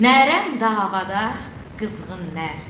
Nərəm davada qızğın nər.